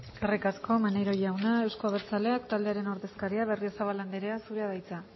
eskerrik asko maneiro jauna euzko abertzaleak taldearen ordezkaria berriozabal anderea zurea da hitza